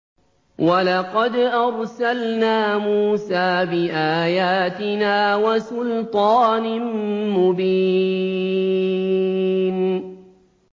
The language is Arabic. وَلَقَدْ أَرْسَلْنَا مُوسَىٰ بِآيَاتِنَا وَسُلْطَانٍ مُّبِينٍ